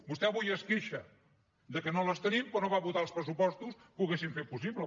vostè avui es queixa que no les tenim però no va votar els pressupostos que ho haurien fet possible